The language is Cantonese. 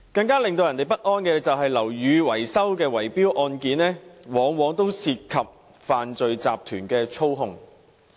更令人不安的是，樓宇維修的圍標案件往往涉及犯罪集團的操控。